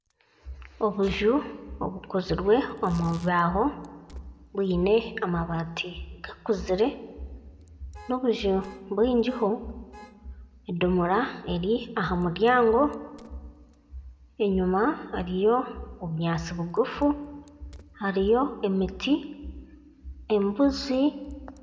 Obuju obukozirwe omubibaaho bwine amabaati gakuzire nobuju bwingiho edomora eri ahamuryango enyuma hariyo obunyatsi bugufu hariyo emiti embuzi.